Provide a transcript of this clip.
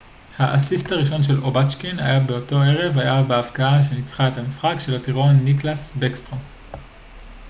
האסיסט הראשון של אובצ'קין באותו ערב היה בהבקעה שניצחה את המשחק של הטירון ניקלאס בקסטרום